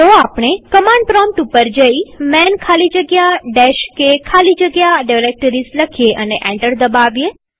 તો આપણે command prompt પર જઈman ખાલી જગ્યા k ખાલી જગ્યા ડિરેક્ટરીઝ લખીએ અને એન્ટર દબાવીએ